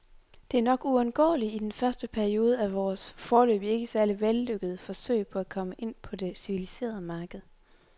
Det er nok uundgåeligt i den første periode af vores, foreløbig ikke særlig vellykkede, forsøg på at komme ind på det civiliserede marked.